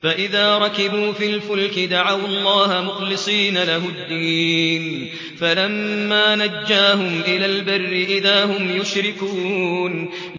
فَإِذَا رَكِبُوا فِي الْفُلْكِ دَعَوُا اللَّهَ مُخْلِصِينَ لَهُ الدِّينَ فَلَمَّا نَجَّاهُمْ إِلَى الْبَرِّ إِذَا هُمْ يُشْرِكُونَ